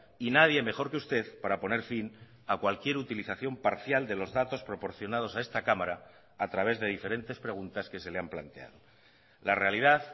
y nadie mejor que usted para poner fin a cualquier utilización parcial de los datos proporcionados a esta cámara a través de diferentes preguntas que se le han planteado la realidad